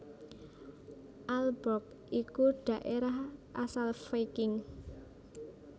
Aalborg iku dhaérah asal Viking